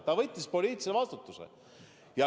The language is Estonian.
Ta võttis poliitilise vastutuse.